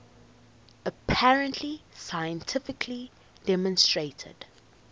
apparently scientifically demonstrated